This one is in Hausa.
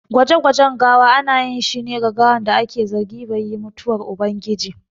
Gwaje gwajen gawa ana ƴin shi ne ga gawan da aƙe zargi bai yi mutuwar ubangiji.